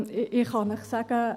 Ich kann Ihnen sagen: